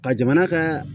Ka jamana ka